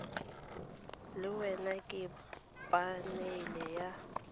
le wena ke phanele ya